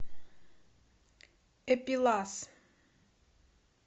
эпилас